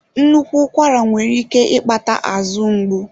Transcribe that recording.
Nnukwu ụkwara nwere ike ịkpata azụ ngbu.